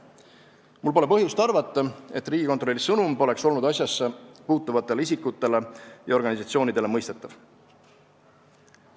Mul pole põhjust arvata, et Riigikontrolli sõnum pole olnud asjasse puutuvatele isikutele ja organisatsoonidele mõistetav.